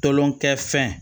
Tolonkɛ fɛn